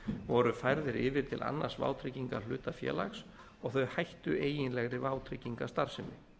voru færðir yfir til annars vátryggingahlutafélags og þau hættu eiginlegri vátryggingastarfsemi